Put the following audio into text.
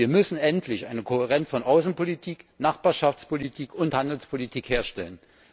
Wir müssen endlich eine Kohärenz von Außenpolitik, Nachbarschaftspolitik und Handelspolitik herstellen.